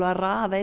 raða